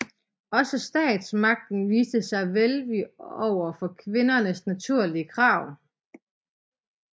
Også statsmagten viste sig velvillig over for kvindernes naturlige krav